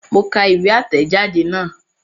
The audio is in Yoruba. Mo ka ìwé àtẹ̀jadé náà